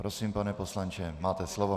Prosím, pane poslanče, máte slovo.